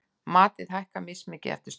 Matið hækkar mismikið eftir stöðum.